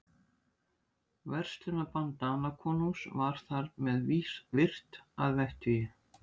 Verslunarbann Danakonungs var þar með virt að vettugi.